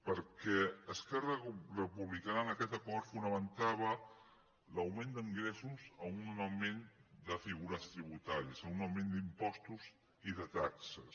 perquè esquerra republicana en aquest acord fonamentava l’augment d’ingressos a un augment de figures tributàries a un augment d’impostos i de taxes